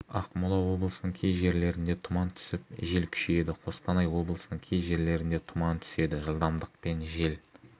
ақмола облысының кей жерлерінде тұман түсіп жел күшейеді қостанай облысының кей жерлерінде тұман түседі жылдамдықпен жел